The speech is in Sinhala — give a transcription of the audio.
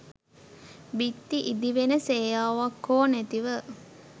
බිත්ති ඉදිවෙන සේයාවක් හෝ නැතිව